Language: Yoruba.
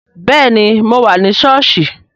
Bẹẹni, mo wà ní sọ́ọ̀sì